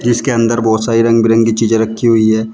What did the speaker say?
इसके अंदर बहुत सारी रंग बिरंगी चीजें रखी हुई है।